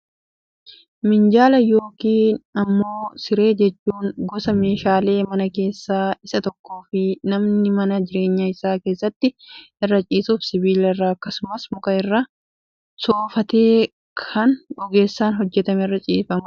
Miinjala yookaan immoo siree jechuun, gosa meeshaalee manaa keessaa isa tokko fi namni mana jireenyaa isaa keessatti irra ciisuuf, sibiila irraa akkasumas muka irraa soofamee kan ogeessaan hojjetamee irra ciifamudha.